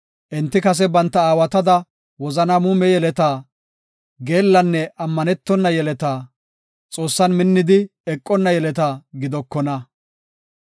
Enti kase banta aawatada wozana muume yeleta, geellanne ammanetona yeleta, Xoossan minnidi eqenna yeleta gidokona.